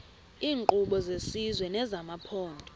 iinkqubo zesizwe nezamaphondo